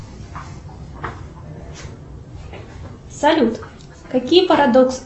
салют какие парадоксы